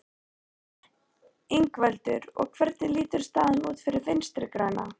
Ingveldur: Og hvernig lítur staðan út fyrir Vinstri-græna?